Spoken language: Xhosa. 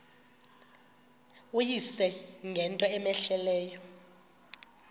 uyise ngento cmehleleyo